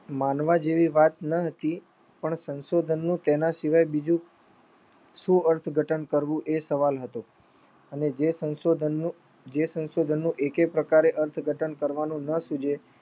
માનવા જેવી વાત ન હતી પણ સંશોધનનું તેના શિવાય બીજું શું અર્થ ધટન કરવું એ સવાલ હતો. અને જે સંશોઘનનું એકેય પ્રકારે અર્થઘટન કરવાનું ન સુજે